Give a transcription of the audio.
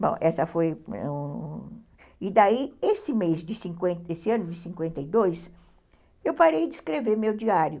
Bom, essa foi... E daí, esse mês de cinquenta e dois, eu parei de escrever o meu diário.